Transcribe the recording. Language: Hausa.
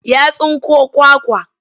Ya tsinko kwakwa.